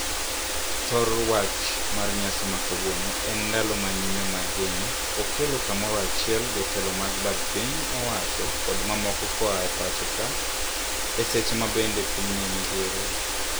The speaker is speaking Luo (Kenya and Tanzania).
Thor wach mar nyasi makawuono en "Ndalo ma nyime mag Geno". Okelo kamoro achiel jotelo mag bad piny owacho kod mamoko koae pacho ka. E seche mabende piny nie midhiero.